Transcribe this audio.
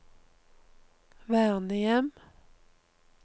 vernehjem